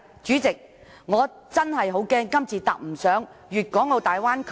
主席，我真的擔心，若我們今次未能坐上粵港澳大灣區的快船......